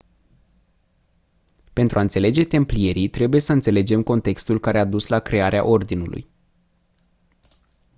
pentru a înțelege templierii trebuie să înțelegem contextul care a dus la crearea ordinului